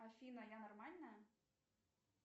афина я нормальная